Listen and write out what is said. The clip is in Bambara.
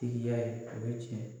Tigiya ya ye, ani tiɲɛ